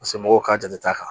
Paseke mɔgɔw ka jate ta kan